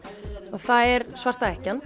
og það er svarta